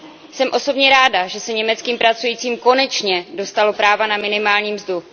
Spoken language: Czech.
Jsem osobně ráda, že se německým pracujícím konečně dostalo práva na minimální mzdu.